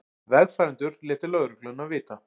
Vegfarendur létu lögregluna vita